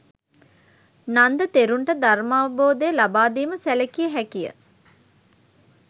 නන්ද තෙරුන්ට ධර්මාවබෝධය ලබා දීම සැලකිය හැකි ය.